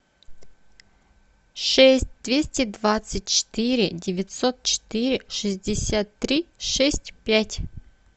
шесть двести двадцать четыре девятьсот четыре шестьдесят три шесть пять